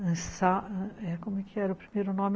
Como que era o primeiro nome?